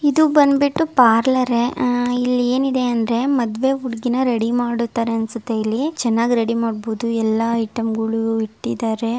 ಇದು ಬಂದ್ಬಿಟ್ಟು ಪಾರ್ಲರ್ ಆ ಇಲ್ಲಿ ಏನಿದೆ ಅಂದ್ರೆ ಮದ್ವೆ ಹುಡುಗಿನ ರೆಡಿ ಮಾಡುತ್ತಾರೆ ಅಂತ ಅನ್ಸುತ್ತೆ ಇಲ್ಲಿ. ಚೆನ್ನಾಗಿ ರೆಡಿ ಮಾಡಬಹುದು. ಎಲ್ಲ ಐಟಮ್‌ಗಳು ಇಟ್ಟಿದ್ದಾರೆ.